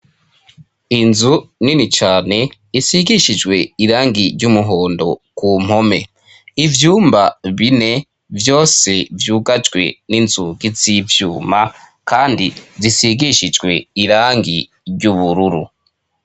Inzu nini cane isigishijwe irangi ry'umuhondo ku mpome ivyumba bine vyose vyugajwe n'inzugi z'ivyuma kandi zisigishijwe irangi ry'ubururu.